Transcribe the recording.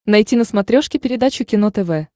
найти на смотрешке передачу кино тв